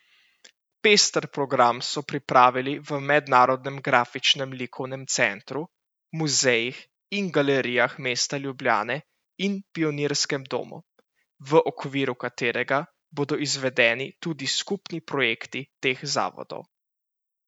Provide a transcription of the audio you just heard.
Pester program so pripravili v Mednarodnem grafičnem likovnem centru, Muzejih in galerijah mesta Ljubljane in Pionirskem domu, v okviru katerega bodo izvedeni tudi skupni projekti teh zavodov.